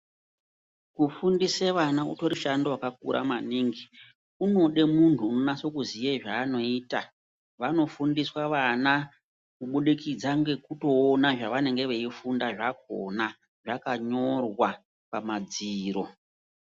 Kufundisa ana utori mushando wakakura maningi unoda munhu anonyaso kuziya zvanoita vanofundiswa vana kubudikidza ngekuona zvavanenge veifunda zvakona zvakanyorwa pamadziro.